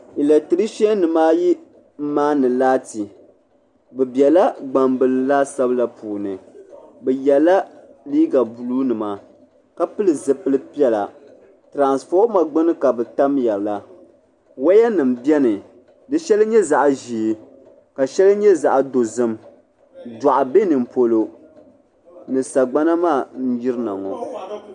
Latirisa nima ayi m maani laati bɛ biɛla gbambila laasabu la puuni bɛ yela liiga buluu nima ka pili zipil piɛla tiranfoma gbini ka bɛ tamya la waya nima biɛni di shɛli nyɛ zaɣa ʒee ka sheli nyɛ zaɣa dozim daɣu be nimpolo ni sagbana maa n yirina ŋɔ.